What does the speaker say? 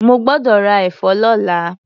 Mo gbọ́dọ̀ ra ẹ̀fọ́ lọ́la.